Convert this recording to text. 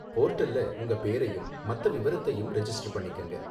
போர்ட்டல்ல உங்க பேரையும் மத்த விவரத்தையும் ரெஜிஸ்டர் பண்ணிக்கங்க.